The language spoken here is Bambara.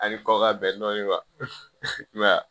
Ani kɔkɔ ka bɛn dɔɔnin